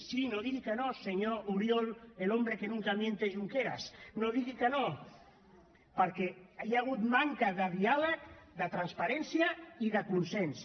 sí no digui que no senyor oriol el hombre que nunca miente junqueras no digui que no perquè hi ha hagut manca de diàleg de transparència i de consens